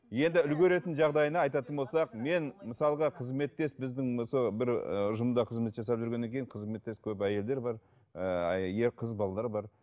енді үлгеретін жағдайына айтатын болсақ мен мысалға қызметтес біздің осы бір ііі ұжымда қызмет жасап жүргеннен кейін қызметтес көп әйелдер бар ііі ер қыз балалар бар